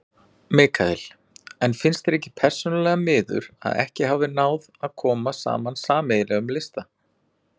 Mikael: En finnst þér persónulega miður að ekki hafi náð að koma saman sameiginlegum lista?